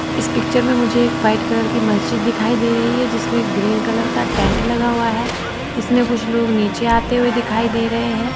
इस पिक्चर में मुझे एक वाइट कलर की मस्जिद दिखाई दे रही है जिसमें ग्रीन कलर का टेंट लगा हुआ है इसमें कुछ लोग नीचे आते हुए दिखाई दे रहे हैं।